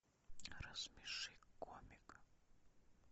рассмеши комика